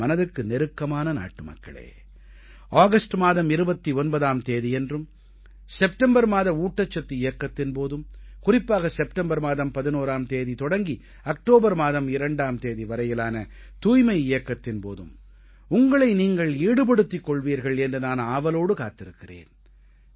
என் மனதுக்கு நெருக்கமான நாட்டுமக்களே ஆகஸ்ட் மாதம் 29ஆம் தேதியன்றும் செப்டம்பர் மாத ஊட்டச்சத்து இயக்கத்தின் போதும் குறிப்பாக செப்டம்பர் மாதம் 11ஆம் தேதி தொடங்கி அக்டோபர் மாதம் 2ஆம் தேதி வரையிலான தூய்மை இயக்கத்தின் போதும் உங்களை நீங்கள் ஈடுபடுத்திக் கொள்வீர்கள் என்று நான் ஆவலோடு காத்துக் கொண்டிருக்கிறேன்